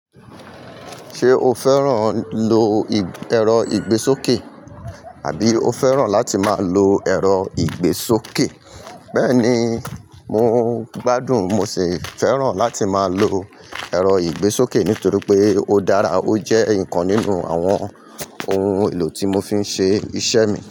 Ṣé o fẹ́ràn lo ẹ̀rọ ìgbésókè? Àbí o fẹ́ràn láti máa lo ẹ̀rọ ìgbésókè? Bẹ́ẹ̀ni, mo gbádùn mo sì fẹ́ràn láti máa lo ẹ̀rọ ìgbésókè nítorí pé ó dára ó jẹ́ nǹkan nínú àwọn ohun èlò tí mo fi ń ṣe iṣẹ́ mi.